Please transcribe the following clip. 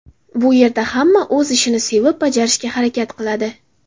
Bu yerda hamma o‘z ishini sevib bajarishga harakat qiladi.